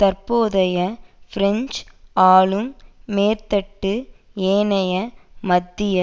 தற்போதைக்கு பிரெஞ்சு ஆளும் மேற்தட்டு ஏனைய மத்திய